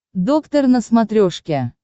доктор на смотрешке